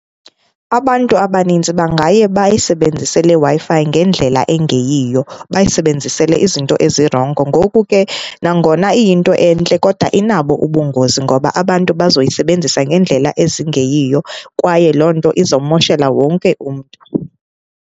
Abantu abanintsi bangaye bayisebenzise le Wi-Fi ngendlela engeyiyo, bayisebenzisele izinto ezirongo. Ngoku ke, nangona iyinto entle kodwa inabo ubungozi ngoba abantu bazoyisebenzisa ngendlela ezingeyiyo kwaye loo nto izawumoshela wonke umntu.